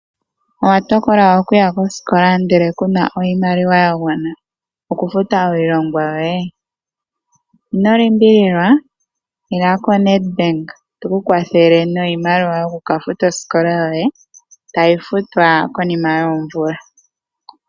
Owa tokola okuya kosikola ndele kuna iimaliwa yagwana okufuta iilongwa yoye? Ino limbililwa, ila koNedbank tuku kwathele niimaliwa yoku ka futa osikola yoye, tayi futwa konima yoomvula.